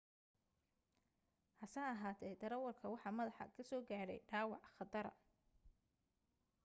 has ahaatee darawalka waxa madaxa ka soo gaadhay dhaawac khatara